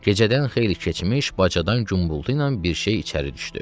Gecədən xeyli keçmiş, bacadan gumbultu ilə bir şey içəri düşdü.